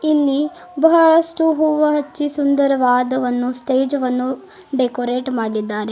ಇಲ್ಲಿ ಬಹಳಷ್ಟು ಹೂವ ಹಚ್ಚಿ ಸುಂದರವಾದವನ್ನು ಸ್ಟೇಜ್ ವನ್ನು ಡೆಕೋರೇಟ್ ಮಾಡಿದ್ದಾರೆ.